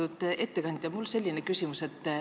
Austatud ettekandja!